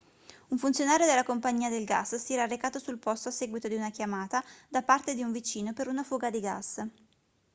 un funzionario della compagnia del gas si era recato sul posto a seguito di una chiamata da parte di un vicino per una fuga di gas